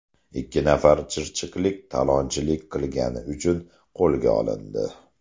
Ikki nafar chirchiqlik talonchilik qilgani uchun qo‘lga olindi.